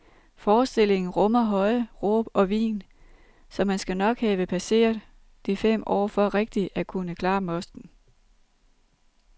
Forestillingen rummer høje råb og hvin, så man skal nok have passeret de fem år for rigtig at kunne klare mosten.